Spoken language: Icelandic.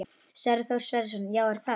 Sverrir Þór Sverrisson: Já, er það?